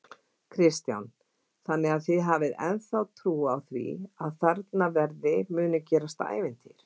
Kristján: Þannig að þið hafið ennþá trú á því að þarna verði muni gerast ævintýr?